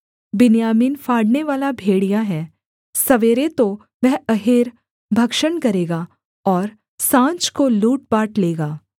बिन्यामीन फाड़नेवाला भेड़िया है सवेरे तो वह अहेर भक्षण करेगा और साँझ को लूट बाँट लेगा